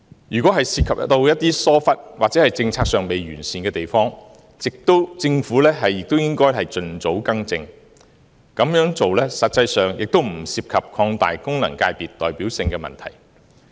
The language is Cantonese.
如果涉及一些疏忽，或政策上未完善的地方，政府也應該盡早更正，這樣做實際上也不涉及擴大功能界別代表性的問題。